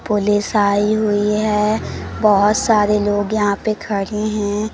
Police आई हुई है बहोत सारे लोग यहां पे खड़े हैं।